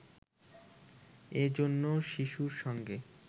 এ জন্য শিশুর সঙ্গে